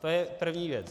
To je první věc.